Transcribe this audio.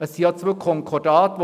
Es gibt ja zwei Konkordate.